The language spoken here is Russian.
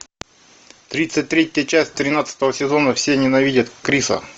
тридцать третья часть тринадцатого сезона все ненавидят криса